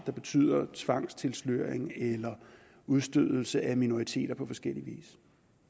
som betyder tvangstilsløring eller udstødelse af minoriteter på forskellig vis